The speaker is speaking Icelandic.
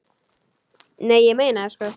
Nei, ég meina það sko.